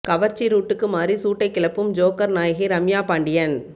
கவர்ச்சி ரூட்டுக்கு மாறி சூட்டை கிளப்பும் ஜோக்கர் நாயகி ரம்யா பாண்டியன்